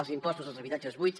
els impostos dels habitatges buits